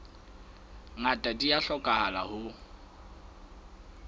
ngata di a hlokahala ho